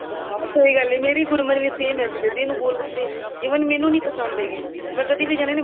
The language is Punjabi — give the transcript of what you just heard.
ਹਾਂ ਸਹੀ ਗੱਲ ਹੈ ਮੇਰੀ ਗੁਰਮਨ ਵੀ same ਇੰਝ ਕਰਦੀ ਹੈ ਇਹਨੂੰ ਗੋਲ ਗੱਪੇ even ਮੈਨੂੰ ਨਹੀਂ ਪਸੰਦ ਹੈਗੇ ਮੈਂ ਕਦੀ ਵੀ ਜਾਂਦੀ ਹਾਂ